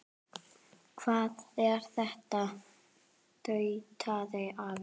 Hvað er þetta? tautaði afi.